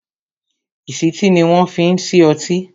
ìsítí ni wọn fi ń ṣí ọtí